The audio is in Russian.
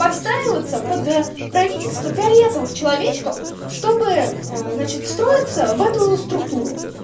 подстраиваться под правительства фиолетовых человечков чтобы начать встроится в эту структуру